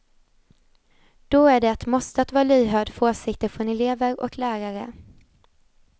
Då är det ett måste att vara lyhörd för åsikter från elever och lärare.